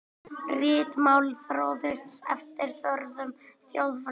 Ritmálið þróaðist eftir þörfum þjóðfélagsins.